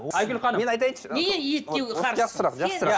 айгүл ханым мен айтайыншы